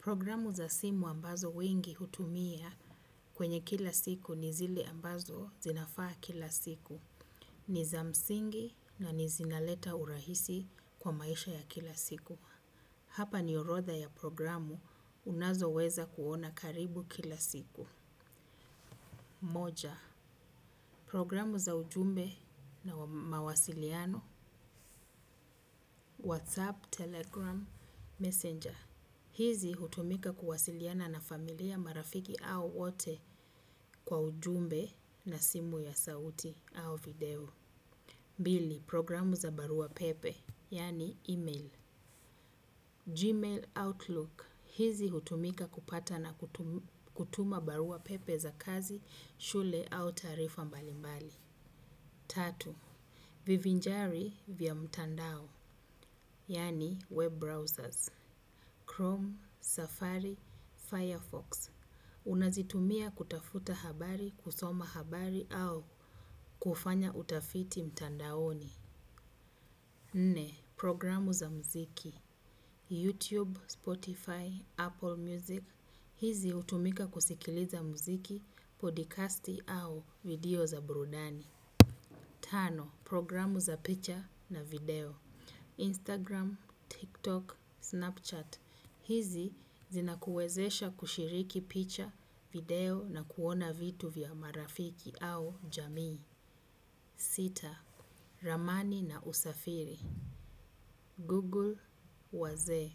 Programu za simu ambazo wengi hutumia kwenye kila siku ni zile ambazo zinafaa kila siku. Niza msingi na zinaleta urahisi kwa maisha ya kila siku. Hapa ni orodha ya programu unayoweza kuona karibu kila siku. Moja. Programu za ujumbe na mawasiliano. WhatsApp, Telegram, Messenger. Hizi hutumika kuwasiliana na familia marafiki au wote kwa ujumbe na simu ya sauti au video. Pili, programu za barua pepe, yaani email. Gmail Outlook, hizi hutumika kupata na kutuma barua pepe za kazi, shule au taarifa mbalimbali. Tatu, vivinjari vya mtandao, yaani web browsers. Chrome, Safari, Firefox. Unazitumia kutafuta habari, kusoma habari au kufanya utafiti mtandaoni. Nne, programu za mziki YouTube, Spotify, Apple Music. Hizi hutumika kusikiliza mziki, podcasti au video za burudani. Tano, programu za picha na video Instagram, TikTok, Snapchat. Hizi zina kuwezesha kushiriki picture, video na kuona vitu vya marafiki au jamii. Sita, ramani na usafiri. Google wazee.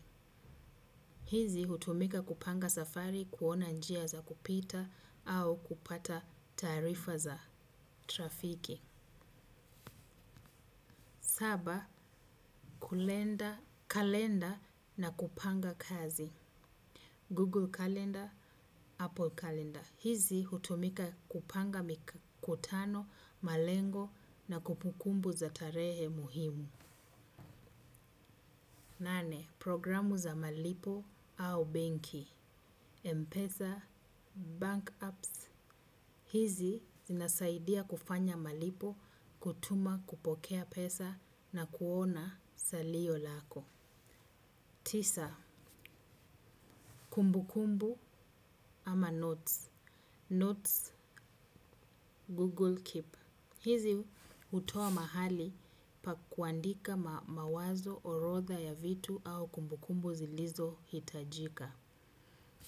Hizi hutumika kupanga safari, kuona njia za kupita au kupata taarifa za trafiki. Saba, kalenda na kupanga kazi. Google kalenda, Apple kalenda. Hizi hutumika kupanga mikutano, malengo na kumbukumbu za tarehe muhimu. Nane, programu za malipo au benki. Mpeza, bank apps. Hizi zinasaidia kufanya malipo, kutuma kupokea pesa na kuona salio lako. Tisa, kumbukumbu ama notes. Notes, Google Keep. Hizi hutoa mahali pa kuandika mawazo orodha ya vitu au kumbukumbu zilizo hitajika.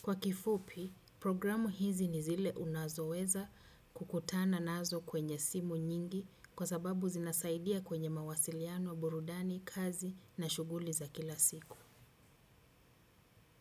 Kwa kifupi, programu hizi ni zile unazoweza kukutana nazo kwenye simu nyingi kwa sababu zinasaidia kwenye mawasiliano, burudani, kazi na shuguli za kila siku.